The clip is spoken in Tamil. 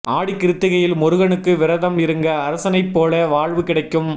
ஆடிக்கிருத்திகையில் முருகனுக்கு விரதம் இருங்க அரசனைப் போல வாழ்வு கிடைக்கும்